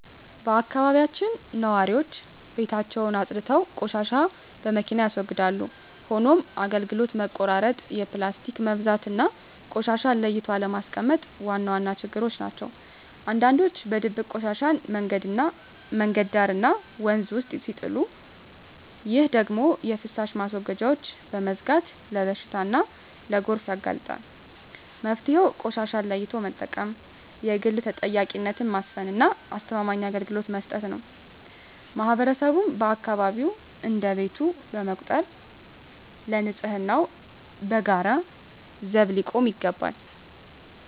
በአካባቢያችን ነዋሪዎች ቤታቸውን አፅድተው ቆሻሻን በመኪና ያስወግዳሉ። ሆኖም የአገልግሎት መቆራረጥ፣ የፕላስቲክ መብዛትና ቆሻሻን ለይቶ አለማስቀመጥ ዋና ችግሮች ናቸው። አንዳንዶች በድብቅ ቆሻሻን መንገድ ዳርና ወንዝ ውስጥ ሲጥሉ፣ ይህ ደግሞ የፍሳሽ ማስወገጃዎችን በመዝጋት ለበሽታና ለጎርፍ ያጋልጣል። መፍትሄው ቆሻሻን ለይቶ መጠቀም፣ የህግ ተጠያቂነትን ማስፈንና አስተማማኝ አገልግሎት መስጠት ነው። ማህበረሰቡም አካባቢውን እንደ ቤቱ በመቁጠር ለንፅህናው በጋራ ዘብ ሊቆም ይገባል።